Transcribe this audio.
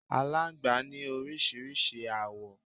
Alángbá ní oríṣiríṣi awo